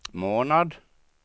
månad